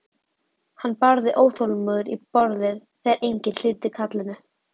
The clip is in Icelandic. Hann barði óþolinmóður í borðið þegar enginn hlýddi kallinu.